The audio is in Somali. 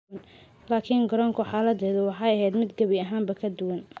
Laakiin garoonka xaaladdu waxay ahayd mid gebi ahaanba ka duwan.